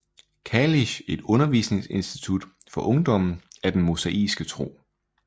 Kalisch et undervisningsinstitut for ungdommen af den mosaiske tro